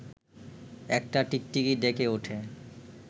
একটা টিকটিকি ডেকে ওঠে